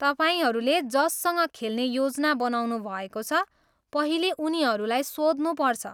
तपाईँहरूले जससँग खेल्ने योजना बनाउनुभएको छ, पहिले उनीहरूलाई सोध्नुपर्छ।